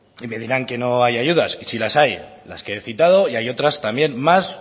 y me dirán que no hay ayudas sí las hay las que he citado y hay otras también más